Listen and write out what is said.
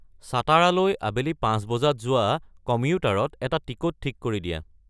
ছাটাৰালৈ আবেলি পাঁচ বজাত যোৱা কম্যুটাৰত এটা টিকট ঠিক কৰি দিয়া